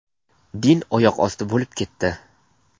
Din oyoq osti bo‘lib ketdi.